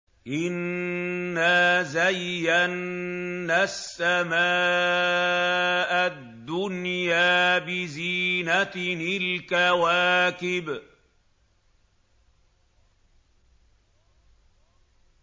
إِنَّا زَيَّنَّا السَّمَاءَ الدُّنْيَا بِزِينَةٍ الْكَوَاكِبِ